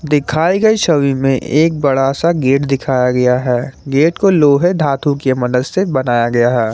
दिखाई गई छवि में एक बड़ा सा गेट दिखाया गया है गेट को लोहे धातु के मदद से बनाया गया है।